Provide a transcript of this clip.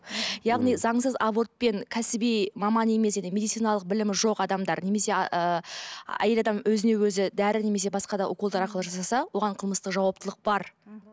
яғни заңсыз абортпен кәсіби маман емес медициналық білімі жоқ адамдар немесе ыыы әйел адам өзіне өзі дәрі немесе басқа да уколдар арқылы жасаса оған қылмыстық жауаптылық бар мхм